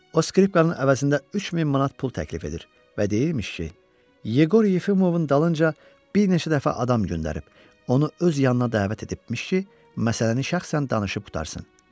O skripkanın əvəzində 3000 manat pul təklif edir və deyirmiş ki, Yeqor Yefimovun dalınca bir neçə dəfə adam göndərib, onu öz yanına dəvət edibmiş ki, məsələni şəxsən danışıb qurtarsın.